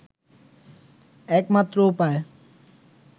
একমাত্র উপায়